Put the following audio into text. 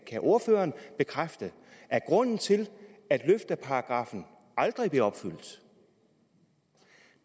kan ordføreren bekræfte at grunden til at løfteparagrafen aldrig bliver opfyldt